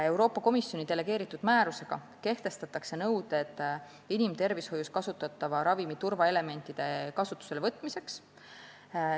Euroopa Komisjoni delegeeritud määrusega kehtestatakse nõuded inimtervishoius kasutatava ravimi turvaelementide kasutusele võtmiseks.